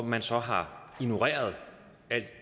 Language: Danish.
man så har ignoreret al